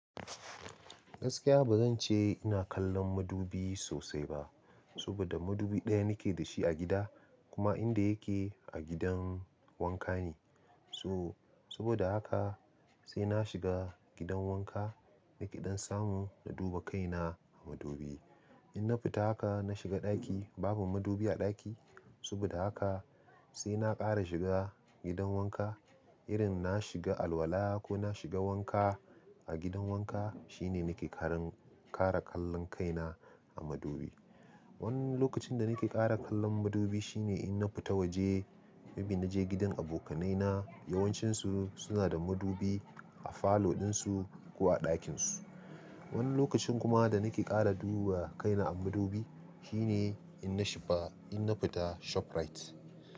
Gaskiya ba zan ce ina kallon madubi sosai ba, saboda madubi ɗaya nake da shi a gida kuma inda yake a gidan wanka ne. So saboda haka sai na shiga gidan wanka, nake ɗan samu na duba kaina a madubi. In na fita haka na shiga ɗaki babu madubi a ɗaki. Saboda haka sai na ƙara shiga gidan wanka irin na shiga alola ko na shiga wanka a gidan wanka shine nake karan-kara kallon kaina a madubi. Wani lokacin da nake ƙara kallon madubi shine in na fita waje, maybe na je gidan abokanai na yawancinsu suna da madubi a falo ɗinsu ko a ɗakinsu. Wani lokacin kuma da nake ƙara duba kaina a madubi shine in na shifa-in na fita ShopRite.